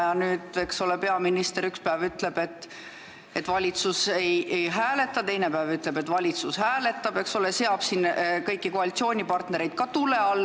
Ja peaminister ütleb üks päev, et valitsus ei hääleta, ja teine päev, et valitsus hääletab, seades siin kõiki koalitsioonipartnereid tule alla.